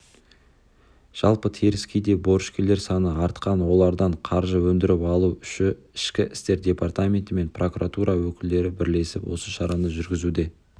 жалпы теріскейде борышкерлер саны артқан олардан қаржы өндіріп алу үші ішкі істер департаменті мен прокуратура өкілдері бірлесіп осы шараны жүргізуде